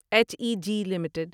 H E G limited